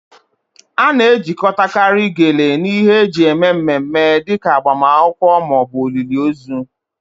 A na-ejikọtakarị Gele na ihe eji eme mmemme dị ka agbamakwụkwọ ma ọ bụ olili ozu